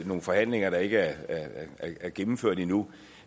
nogle forhandlinger der ikke er gennemført endnu